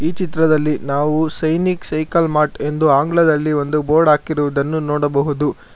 ಈ ಚಿತ್ರದಲ್ಲಿ ನಾವು ಸೈನಿಕ ಸೈಕಲ್ ಮಾರ್ಟ್ ಎಂದು ಆಂಗ್ಲದಲ್ಲಿ ಒಂದು ಬೋರ್ಡ್ ಹಾಕಿರುದನ್ನು ನೋಡಬಹುದು.